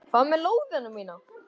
Hvað með lóðina mína!